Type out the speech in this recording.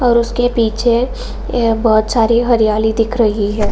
और उसके पीछे यह बहुत सारी हरियाली दिख रही है |